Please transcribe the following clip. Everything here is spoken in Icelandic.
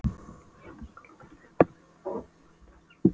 Hljómskálagarð, Hringbraut, og það í janúar, allt vestur á Ægisíðu